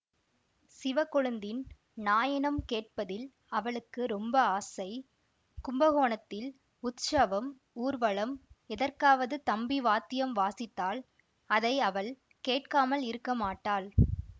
சிவக்கொழுந்தின் நாயனம் கேட்பதில் அவளுக்கு ரொம்ப ஆசை கும்பகோணத்தில் உத்ஸவம் ஊர்வலம் எதற்காவது தம்பி வாத்தியம் வாசித்தால் அதை அவள் கேட்காமல் இருக்க மாட்டாள்